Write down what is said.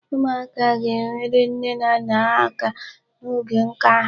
Ụmụaka ga-enyere nne na nne ha aka n'oge nka ha.